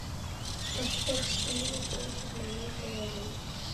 поставь сплина прочь из моей головы